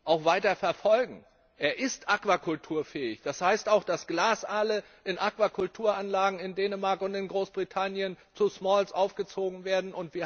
sind, auch weiter verfolgen. Der Aal ist aquakulturfähig, das heißt, dass Glasaale in Aquakulturanlagen in Dänemark und in Großbritannien zu Smalls aufgezogen werden.